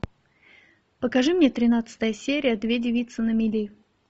покажи мне тринадцатая серия две девицы на мели